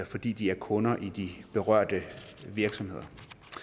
fordi de er kunder i de berørte virksomheder